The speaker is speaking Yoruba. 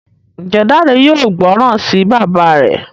Njé Dare yóò gbóròn sí bàbá rẹ?